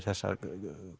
þessa